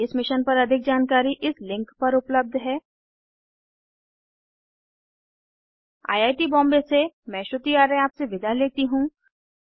इस मिशन पर अधिक जानकारी इस लिंक पर उपलब्ध है httpspoken tutorialorgNMEICT Intro I I T Bombay से मैं श्रुति आर्य आपसे विदा लेती हूँ